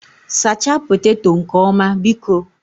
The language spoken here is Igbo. Sachaa poteto nke ọma, biko